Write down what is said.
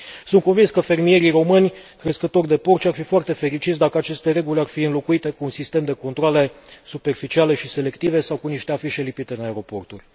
Sunt convins că fermierii români crescători de porci ar fi foarte fericiți dacă aceste reguli ar fi înlocuite cu un sistem de controale superficiale și selective sau cu niște afișe lipite în aeroporturi.